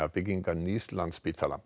byggingar nýs Landspítala